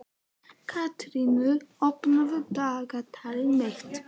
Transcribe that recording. Katarínus, opnaðu dagatalið mitt.